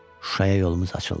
Şuşaya yolumuz açıldı.